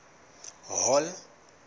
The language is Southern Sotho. hall